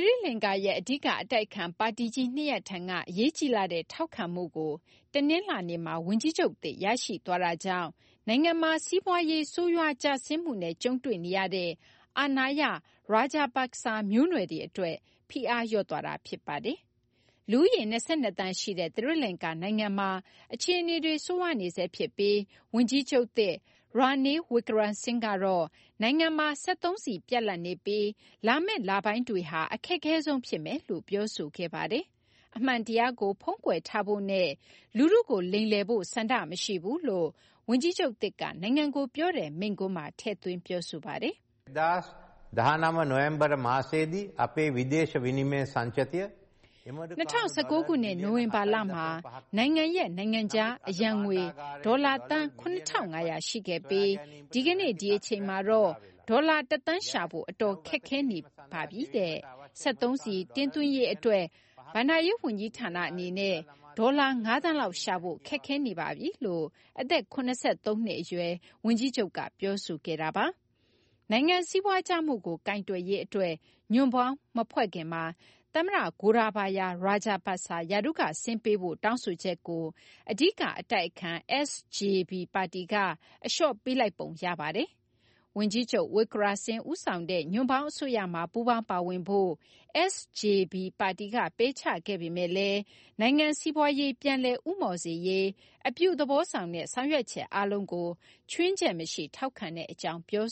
ရိလင်္ကာရဲ့ အဓိက အတိုက်အခံပါတီကြီး ၂ ရပ်ထံက အရေးကြီးလှတဲ့ ထောက်ခံမှုကို တနလာၤနေ့မှာ ဝန်ကြီးချုပ်သစ် ရရှိသွားတာကြောင့် နိုင်ငံမှာ စီးပွားရေး ဆိုးဝါးကျဆင်းမှုနဲ့ ကြုံတွေ့နေရတဲ့ အာဏာရ Rajapaksa မျိုးနွယ်တွေအတွက် ဖိအားလျော့သွားတာ ဖြစ်ပါတယ်။ လူဦးရေ ၂၂ သန်း ရှိတဲ့ သီရိလကာၤနိုင်ငံမှာ အခြေအနေတွေ ဆိုးရွားနေဆဲ ဖြစ်ပြီး ဝန်ကြီးချုပ်သစ် Ranil Wickremesinghe ကတော့ နိုင်ငံမှာ စက်သုံးဆီ ပြတ်လပ်နေပြီး လာမယ့် လပိုင်းတွေဟာ အခက်ခဲဆုံး ဖြစ်မယ်လို့ ပြောဆိုခဲ့ပါတယ်။ အမှန်တရားကို ဖုံးကွယ်ထားဖို့နဲ့ လူထုကို လိမ်လည်ဖို့ ဆန္ဒ မရှိဘူးလို့လည်း ဝန်ကြီးချုပ်သစ်က နိုင်ငံကို ပြောတဲ့ မိန့်ခွန်းမှာ ထည့်သွင်း ပြောဆိုပါတယ်။ ၂၀၁၉ ခုနှစ် နိုဝင်ဘာလမှာ နိုင်ငံရဲ့ နိုင်ငံခြား အရန်ငွေ ဒေါ်လာ သန်း ၇၅၀၀ ရှိခဲ့ပြီး ဒီကနေ့ ဒီအချိန်မှာတော့ ဒေါ်လာ တသန်း ရှာဖို့ အတော် ခက်ခဲနေပါပြီ။ စက်သုံးဆီ တင်သွင်းရေး အတွက် ဘဏ္ဍာရေး ဝန်ကြီးဌာန အနေနဲ့ ဒေါ်လာ ၅ သန်းလောက် ရှာဖို့ ခက်ခဲနေပါတယ်လို့ အသက် ၇၃ နှစ် အရွယ် ဝန်ကြီးချုပ်က ပြောဆိုခဲ့တာပါ။ နိုင်ငံ စီးပွားကျမှုကို ကိုင်တွယ်ရေး အတွက် ညွှန့်ပေါင်းမဖွဲ့ခင်မှာ သမ္မတ Gotabaya Rajapaksa ရာထူးက ဆင်းပေးဖို့ တောင်းဆိုချက်ကို အဓိက အတိုက်အခံ SJB ပါတီက အလျှော့ပေးလိုက်ပုံ ရပါတယ်။ ဝန်ကြီးချုပ် Wickremesinghe ဦးဆောင်တဲ့ ညွန့်ပေါင်း အစိုးရမှာ ပူးပေါင်းပါဝင်ဖို့ SJB ပါတီက ပယ်ချခဲ့ပေမယ့်လည်း နိုင်ငံ စီးပွားရေး ပြန်လည် ဦးမော့စေရေး အပြုသဘောဆောင်တဲ့ ဆောင်ရွက်ချက် အားလုံးကို ခြွင်းချက် မရှိ ထောက်ခံမယ့် အကြောင်း ပြော